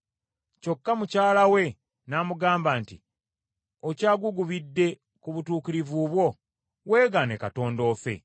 Kyokka mukyala we n’amugamba nti, “Okyagugubidde ku butuukirivu bwo? Weegaane Katonda ofe!”